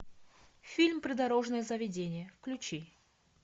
фильм придорожное заведение включи